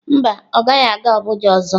Mba, ọ gaghị aga Abuja ọzọ.